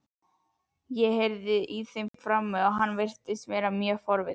Ég heyrði í þeim frammi og hann virtist mjög forvitinn.